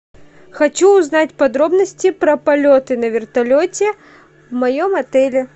хочу узнать подробности про полеты на вертолете в моем отеле